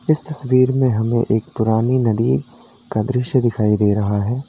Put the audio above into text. इस तस्वीर में हमें एक पुरानी नदी का दृश्य दिखाई दे रहा है।